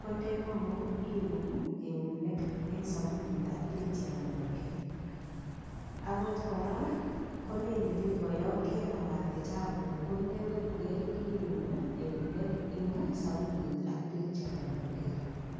kondemong'u iun eunek eng' sabunit ak beek cherondokei akot kora koleini biko yo kenamate chapuk ko ndewekukei iun eunek eng' sabunit ak beek cherondokei